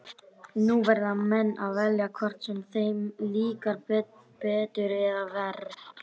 Nú verða menn að velja, hvort sem þeim líkar betur eða verr.